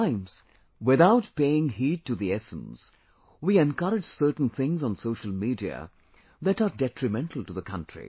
At times, without paying heed to the essence, we encourage certain things on Social Media that are detrimental to the country